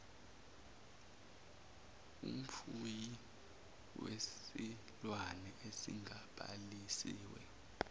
umfuyi wesilwane esingabhalisiwe